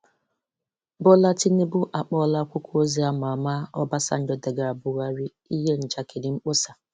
Bola Tinubu akpọọla akwụkwọ ozi ama ama Obasanjo degara Buhari 'ihe njakịrị mkpọsa'.